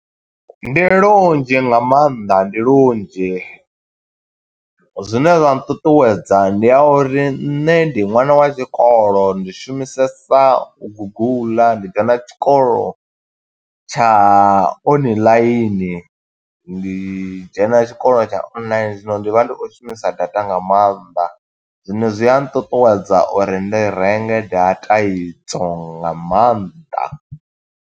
Ndi lunzhi nga maanḓa, ndi lunzhi. Zwine zwa nṱuṱuwedza ndi a uri, nṋe ndi ṅwana wa tshikolo, ndi shumisesa guguḽa, ndi dzhena tshikolo tsha oniḽaini. Ndi dzhena tshikolo tsha online, zwino ndi vha ndi o shumisa data nga mannḓa. Zwino zwi a nṱuṱuwedza uri ndi renge data i dzo nga maanḓa.